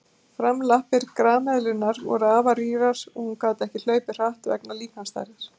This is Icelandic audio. Framlappir grameðlunnar voru afar rýrar og hún gat ekki hlaupið hratt vegna líkamsstærðar.